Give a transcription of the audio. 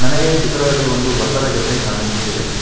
ನನಗೆ ಚಿತ್ರದಲ್ಲಿ ಒಂದು ಬತ್ತದ ಗೆದ್ದೆ ಕಾಣಿಸುತ್ತಿದೆ.